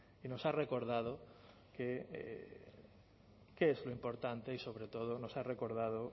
y nos ha recordado qué es lo importante y sobre todo nos ha recordado